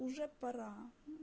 уже пора